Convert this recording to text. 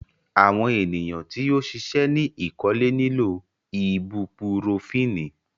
Awọn eniyan ti o ṣiṣẹ ni ikole nilo ibupurofínì